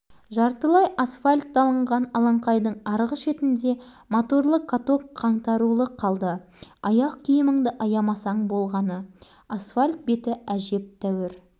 балалар сонда да қояр емес есіріп алған шамалары келгенше жер жер емес-ау асфальт тепкілеп жатыр